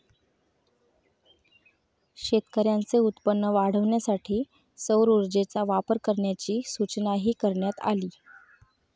शेतकऱ्यांचे उत्पन्न वाढवण्यासाठी सौर ऊर्जेचा वापर करण्याची सूचनाही करण्यात आली